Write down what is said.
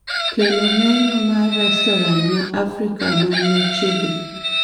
kelo menyu ma restoran ma Afrika man machiegni